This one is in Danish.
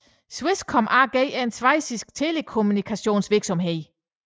Swisscom AG er en schweizisk telekommunikationsvirksomhed